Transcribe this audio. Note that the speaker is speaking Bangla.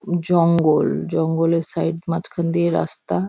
জঙ্গল জঙ্গলের সাইড মাঝখান দিয়ে রাস্তা--